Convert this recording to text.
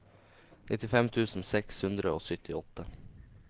nittifem tusen seks hundre og syttiåtte